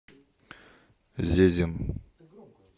зезин